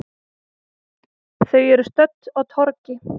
Þau eru stödd á torgi.